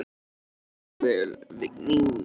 Þú stendur þig vel, Vigný!